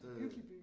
Hyggelig by